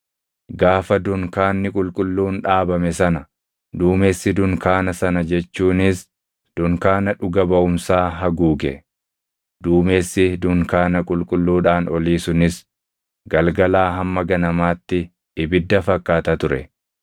Gaafa dunkaanni qulqulluun dhaabame sana duumessi dunkaana sana jechuunis dunkaana dhuga baʼumsaa haguuge. Duumessi dunkaana qulqulluudhaan olii sunis galgalaa hamma ganamaatti ibidda fakkaata ture.